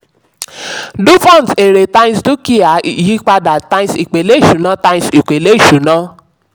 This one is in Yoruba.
cs] dupont èrè times dúkìá yípadà times ipele ìṣúná. times ipele ìṣúná.